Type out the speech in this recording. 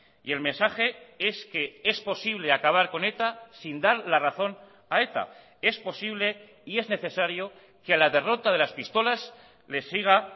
y el mensaje es que es posible acabar con eta sin dar la razón a eta es posible y es necesario quela derrota de las pistolas le siga